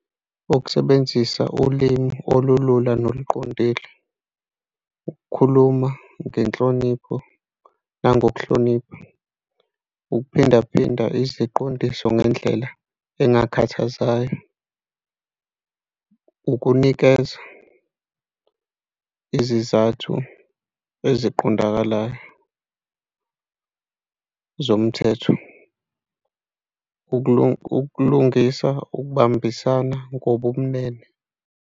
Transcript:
Ukusebenzisa ulimi olulula noluqondile, ukukhuluma ngenhlonipho nangokuhlonipha, ukuphindaphinda iziqondiso ngendlela engakhathazayo, ukunikeza izizathu eziqondakalayo zomthetho, ukulungisa ukubambisana ngobumnene.